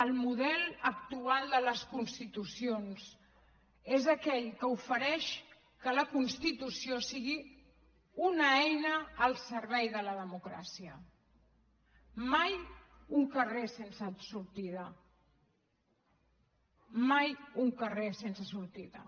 el model actual de les constitucions és aquell que ofereix que la constitució sigui una eina al servei de la democràcia mai un carrer sense sortida mai un carrer sense sortida